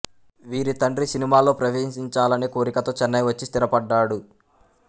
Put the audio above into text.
వీరి తండ్రి సినిమాల్లో ప్రవేశించాలనే కోరికతో చెన్నై వచ్చి స్థిరపడ్డాడు